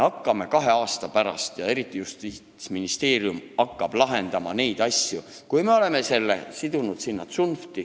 Kahe aasta pärast me hakkame, eriti just Justiitsministeerium hakkab neid asju lahendama, kui me oleme selle kõik tsunftiga sidunud.